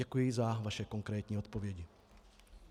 Děkuji za vaše konkrétní odpovědi.